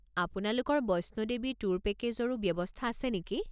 আপোনালোকৰ বৈষ্ণো দেৱী ট্যুৰ পেকেজৰো ব্যৱস্থা আছে নেকি?